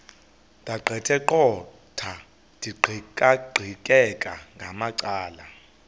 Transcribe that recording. ndaqetheqotha ndiqikaqikeka ngamacala